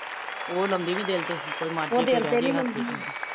ਉਹ ਲਾਉਂਦੀ ਨੀ ਦਿਲ ਤੇ ਕੋਈ ਮਰਜੇ ਕੋਈ